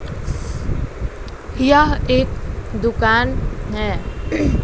यह एक दुकान है।